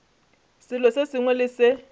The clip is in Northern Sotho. selo se sengwe le se